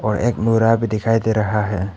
और एक बोरा भी दिखाई दे रहा है।